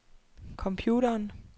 computeren